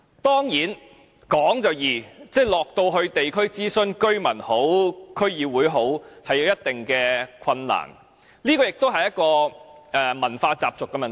當然，說就容易，到地區諮詢，無論是居民或區議會，也有一定困難，這亦涉及文化習俗的問題。